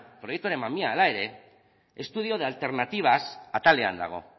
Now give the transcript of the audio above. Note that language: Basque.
proiektuaren mamia hala ere estudio de alternativas atalean dago